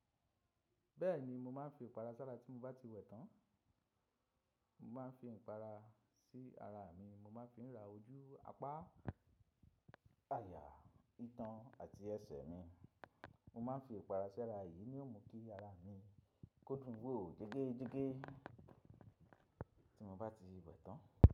Bẹ́ẹ̀ni, mo máa ń fi ìpara sára tí mo bá ti wẹ̀ tán. Mo máa ń fi ìpara sí ara mi, mo máa ń fi rà ojú, apá àyà, itan àti ẹsẹ̀ mi. Mo máa ń fi ìpara sára, èyí ni ó mú kí ara mi kó dùn wò jegéjegé tí mo bá ti wẹ̀ tán.